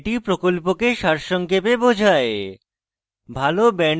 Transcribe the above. এটি প্রকল্পকে সারসংক্ষেপে বোঝায়